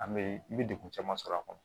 An bɛ i bɛ degun caman sɔrɔ a kɔnɔ